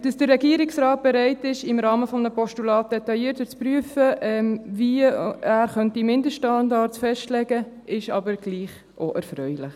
Dass der Regierungsrat bereit ist, im Rahmen eines Postulats detaillierter zu prüfen, wie er Mindeststandards festlegen könnte, ist aber doch auch erfreulich.